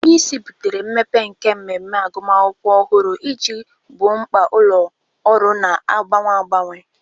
Onye isi butere mmepe nke mmemme agụmakwụkwọ ọhụrụ iji gboo mkpa ụlọ ọrụ na-agbanwe agbanwe.